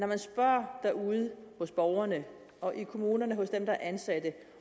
man spørger derude hos borgerne og i kommunerne hos dem der er ansatte